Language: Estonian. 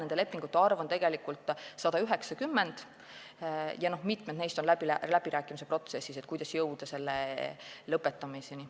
Nende lepingute arv on tegelikult 190 ja mitmed neist on läbirääkimiste protsessis, et jõuda lõpetamiseni.